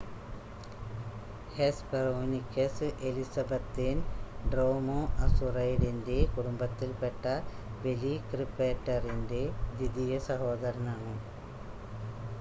Hesperonychus എലിസബത്തേൻ ഡ്രോമോഅസൂറൈഡിൻ്റെ കുടുംബത്തിൽ പെട്ട വെലിക്രിപ്പേറ്ററിൻ്റെ ദ്വിതീയ സഹോദരനാണ്